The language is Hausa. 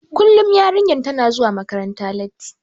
Kullum yarinyar tana zuwa makaranta latti.